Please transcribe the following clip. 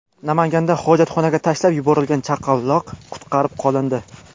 Namanganda hojatxonaga tashlab yuborilgan chaqaloq qutqarib qolindi.